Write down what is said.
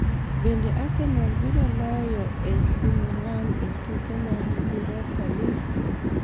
Bende Arsenal biro loyo loyo AC Milan e tuke mag Europa League?